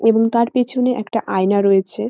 এবং তার পেছনে একটা আয়না রয়েছে।